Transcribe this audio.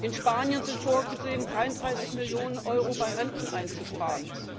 In Spanien ist vorgesehen, 33Millionen Euro bei Renten einzusparen.